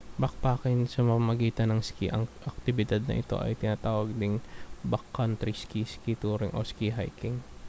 backpacking sa pamamagitan ng ski ang aktibidad na ito ay tinatawag ding backcountry ski ski touring o ski hiking